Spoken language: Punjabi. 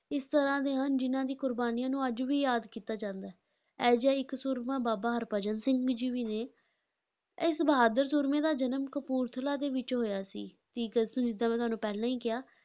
ਇਸ ਤਰ੍ਹਾਂ ਦੇ ਹਨ ਜਿਨ੍ਹਾਂ ਦੀ ਕੁਰਬਾਨੀਆਂ ਨੂੰ ਅੱਜ ਵੀ ਯਾਦ ਕੀਤਾ ਜਾਂਦਾ ਹੈ, ਅਜਿਹਾ ਹੀ ਇੱਕ ਸੂਰਮਾ ਬਾਬਾ ਹਰਭਜਨ ਸਿੰਘ ਜੀ ਵੀ ਨੇ, ਇਸ ਬਹਾਦਰ ਸੂਰਮੇ ਦਾ ਜਨਮ ਕਪੂਰਥਲਾ ਦੇ ਵਿੱਚ ਹੋਇਆ ਸੀ, ਤੀਹ ਅਗਸਤ ਨੂੰ ਜਿੱਦਾਂ ਮੈਂ ਤੁਹਾਨੂੰ ਪਹਿਲਾਂ ਹੀ ਕਿਹਾ,